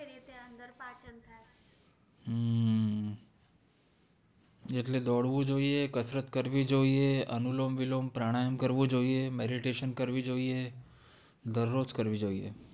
એટલે દોડવું જોયે કસરત કરવી જોયે અનુલોમવિલોમ પ્રાણાયામ કરવો જોયે meditation કરવી જોયે દરરોજ કરવી જોઈએ